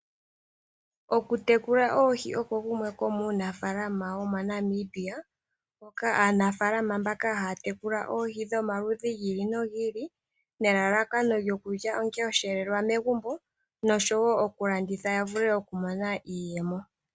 Okutekula oohi oko kumwe komuunafalama wo moNamibia, hoka aanafalama mbaka haa tekula oohi dhomaludhi gi ili nogi ili. Nelalakano lyokulya onga oshelelwa megumbo noshowo okulanditha ya vule okumona iiyemo.